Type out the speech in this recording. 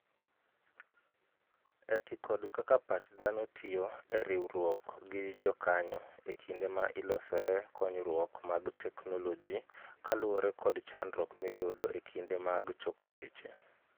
Oti kod kaka pach dhano tiyo e riwruok gi jokanyo ekinde ma ilosoe konyruok mag technologi kaluwore kod chandruok miyudo e kinde maag choko weche